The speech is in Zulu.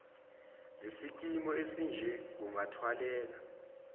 zesikimu esinje kungathwaleka